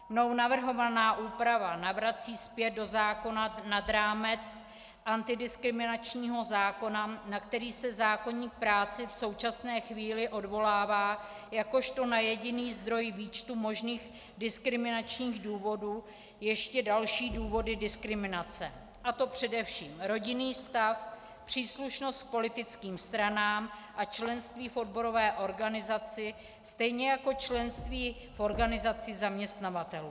Mnou navrhovaná úprava navrací zpět do zákona nad rámec antidiskriminačního zákona, na který se zákoník práce v současné chvíli odvolává jakožto na jediný zdroj výčtu možných diskriminačních důvodů, ještě další důvody diskriminace, a to především rodinný stav, příslušnost k politickým stranám a členství v odborové organizaci, stejně jako členství v organizaci zaměstnavatelů.